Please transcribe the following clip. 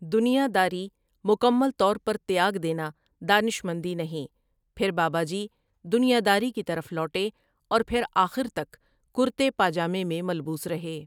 دنیا داری مکمل طور پر تیاگ دینا دانش مندی نہیں پھر بابا جی دنیا داری کی طرف لوٹے اور پھر آخر تک کُرتے پاجامے میں ملبوس رہے ۔